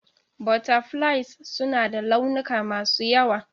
Butterflies suna da launuka masu yawa.